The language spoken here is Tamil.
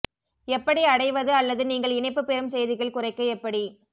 எப்படி அடைவது அல்லது நீங்கள் இணைப்பு பெறும் செய்திகள் குறைக்க எப்படி